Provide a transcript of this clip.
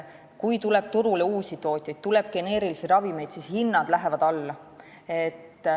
Kui turule tuleb uusi tootjaid, tuleb ka geneerilisi ravimeid, siis hinnad lähevad alla.